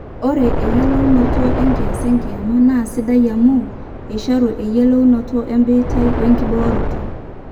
ore eyiolounoto enkias enkiama naa sidai amu eishoru eyiolounoto ebiitia wenkibooroto